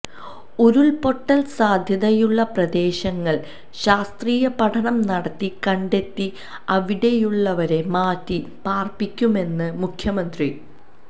ഉരുൾ പൊട്ടൽ സാധ്യതയുള്ള പ്രദേശങ്ങൾ ശാസ്ത്രീയ പഠനം നടത്തി കണ്ടെത്തി അവിടെയുള്ളവരെ മാറ്റി പാര്പ്പിക്കുമെന്ന് മുഖ്യമന്ത്രി